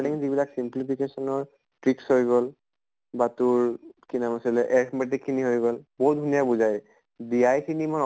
তিং যিবিলাক simplification ৰ tricks হৈ গʼল বা তোৰ কি নাম আছিলে arithmetically হৈ গʼল, বহুত ধুনীয়া বুজাই । খিনি মই